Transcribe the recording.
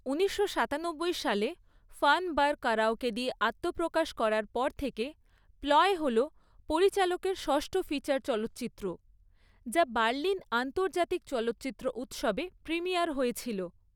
ঊনিশশো সাতানব্বই সালে ফান বার কারাওকে দিয়ে আত্মপ্রকাশ করার পর থেকে প্লয় হল পরিচালকের ষষ্ঠ ফিচার চলচ্চিত্র, যা বার্লিন আন্তর্জাতিক চলচ্চিত্র উৎসবে প্রিমিয়ার হয়েছিল।